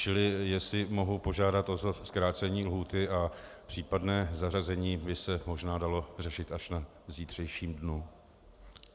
Čili jestli mohu požádat o zkrácení lhůty a případné zařazení by se možná dalo řešit až v zítřejším dni.